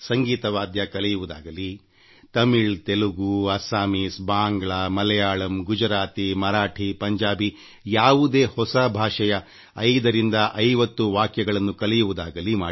ಸಂಗೀತ ವಾದ್ಯ ಕಲಿಯುವುದಾಗಲಿ ತಮಿಳು ತೆಲುಗು ಅಸ್ಸಾಮೀಸ್ ಬಾಂಗ್ಲಾ ಮಲಯಾಳಂಗುಜರಾತಿ ಮರಾಠಿ ಪಂಜಾಬಿ ಯಾವುದೇ ಹೊಸ ಭಾಷೆಯ ಕೆಲವು ವಾಕ್ಯಗಳನ್ನು ಕಲಿಯಿರಿ